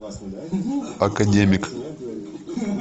академик